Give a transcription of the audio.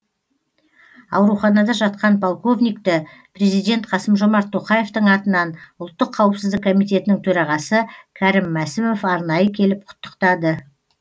ауруханада жатқан полковникті президент қасым жомарт тоқаевтың атынан ұлттық қауіпсіздік комитетінің төрағасы кәрім мәсімов арнайы келіп құттықтады